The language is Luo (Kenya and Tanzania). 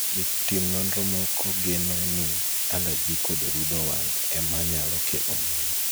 jotim nonro moko geno ni alaji kod rudho wang' ema nyalo kelo mano